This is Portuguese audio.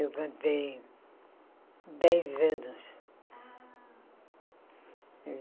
Eu cantei dez anos. Ah